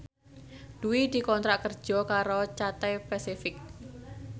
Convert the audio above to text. Dwi dikontrak kerja karo Cathay Pacific